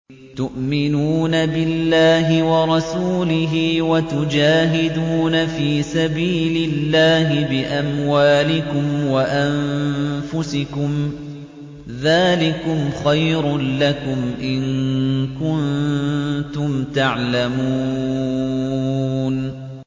تُؤْمِنُونَ بِاللَّهِ وَرَسُولِهِ وَتُجَاهِدُونَ فِي سَبِيلِ اللَّهِ بِأَمْوَالِكُمْ وَأَنفُسِكُمْ ۚ ذَٰلِكُمْ خَيْرٌ لَّكُمْ إِن كُنتُمْ تَعْلَمُونَ